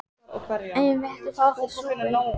Eigum við ekki að fá okkur súpu?